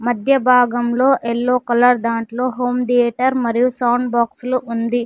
మధ్య భాగంలో yellow colour దాంట్లో హోమ్ థియేటర్ మరియు సౌండ్ బాక్స్ లు ఉంది.